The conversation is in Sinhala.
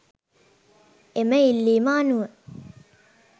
එම ඉල්ලීම අනුව